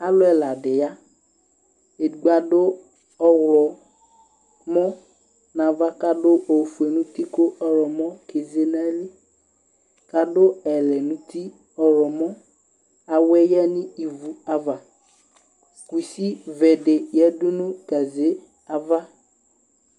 Aalʋɛɖi yea, edigbo aɖʋ ɔɣlɔmɔ n'ava, k'adʋofue nʋ tii kʋ ɔɣlɔmɔ kedze n'ayili, k'aɖʋ ɛlɛ n'ʋti, ɔɣlɔmɔAwuɛ yea n'ivu avaKusi beɖi yeaɖʋ nʋ gaze' ava